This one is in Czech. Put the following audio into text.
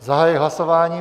Zahajuji hlasování.